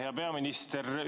Hea peaminister!